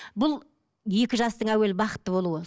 бұл екі жастың әуелі бақытты болуы